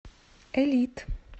элит